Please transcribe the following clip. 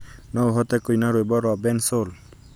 no ũhote kũina rwĩmbo rwa bensoul